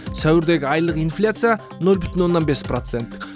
сәуірдегі айлық инфляция нөл бүтін оннан бес процент